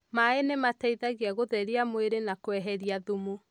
Maaĩ nĩ mateithagia gũtheria mwĩrĩ na kweheria thumu.